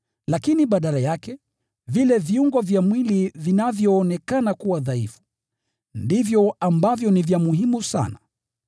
Lakini badala yake, vile viungo vya mwili vinavyoonekana kuwa dhaifu, ndivyo ambavyo ni vya muhimu sana.